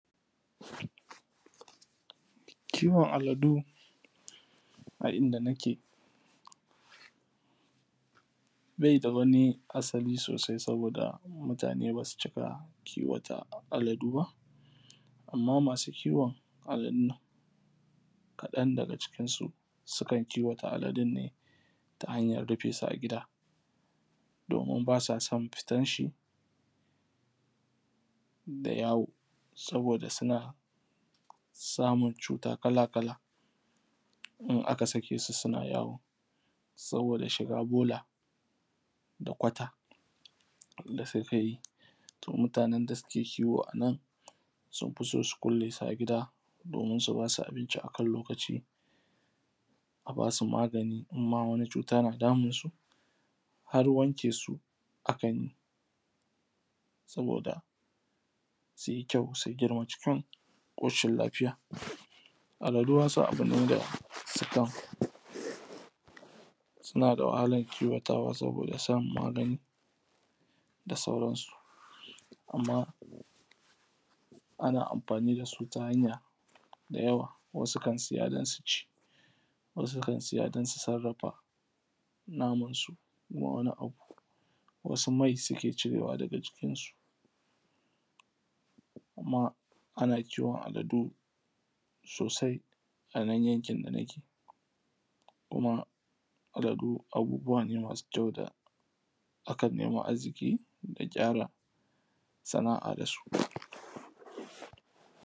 Kiwon aladu a inda nake baida wani asali sosai, saboda mutane basu cika kiwo ta aladu ba, amma masu kiwon aladun nan kaɗan daga cikin su sukan kiwo ta aladun ne ta hanyar rufe su a gida, domin ba sa son fitan shi da yawo, sabida suna samun cuta kala-kala in aka sake su suna yawo. Saboda shiga bola da kwata da suke yi. To mutanen nan da suke kiwo anan sun fi so su kulle su a gida, domin su basu abinci akan lokaci, a basu magani in ma wasu cuta na damun su, har wanke su akan yi, saboda suyi kyau su girma cikin ƙoshin lafiya. Aladu wasu abune da sukan suna da wahalan kiwo tawa saboda samun magani da sauran su, amma ana amfani dasu ta hanya da yawa, wasu kan siya don su ci, wasu kan siya don su sarrafa naman su zuwa wani abu, wasu mai suke cirewa daga jikin su, amma ana kiwon aladu sosai anan yankin dana ke, kuma aladu abubuwa ne masu kyau da akan nema arziƙi da gyara sana’a dasu.